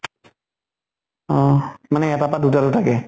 অ মানে এটাৰ পা দুটা দুটা কে?